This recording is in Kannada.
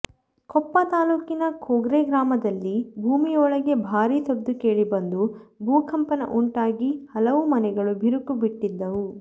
ಕೊಪ್ಪ ತಾಲೂಕಿನ ಕೋಗ್ರೆ ಗ್ರಾಮದಲ್ಲಿ ಭೂಮಿಯೊಳಗೆ ಭಾರೀ ಸದ್ದು ಕೇಳಿ ಬಂದು ಭೂಕಂಪನ ಉಂಟಾಗಿ ಹಲವು ಮನೆಗಳು ಬಿರುಕು ಬಿಟ್ಟಿದ್ದವು